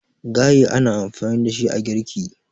gaye ana amfani da shi a girki